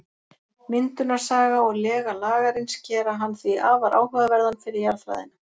Myndunarsaga og lega Lagarins gera hann því afar áhugaverðan fyrir jarðfræðina.